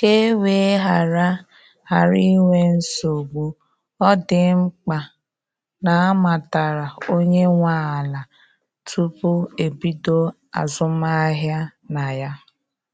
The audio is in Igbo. Ka e wee ghara ghara inwe nsogbu, ọ dị mkpa na amatara onye nwe ala tupu ebido azụmahịa na ya.